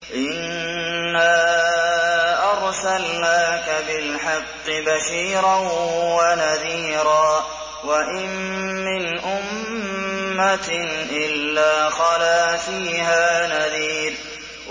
إِنَّا أَرْسَلْنَاكَ بِالْحَقِّ بَشِيرًا وَنَذِيرًا ۚ وَإِن مِّنْ أُمَّةٍ إِلَّا خَلَا فِيهَا نَذِيرٌ